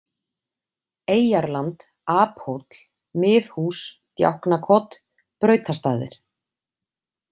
Eyjarland, Aphóll, Miðhús Djáknakot, Brautastaðir